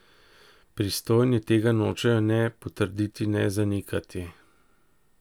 Pristojni tega nočejo ne potrditi ne zanikati.